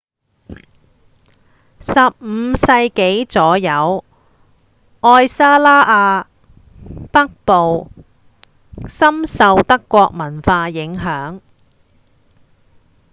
15世紀左右愛沙尼亞北部深受德國文化影響